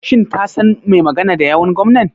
Shin ka san mai magana da yawun gwamnan.